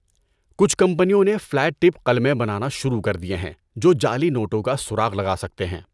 کچھ کمپنیوں نے فیلٹ ٹپ قلمیں بنانا شروع کر دیے ہیں جو جعلی نوٹوں کا سراغ لگا سکتے ہیں۔